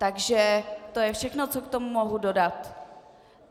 Takže to je všechno, co k tomu mohu dodat.